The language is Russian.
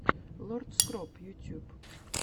лорд скроп ютьюб